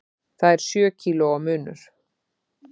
Það er sjö kílóa munur.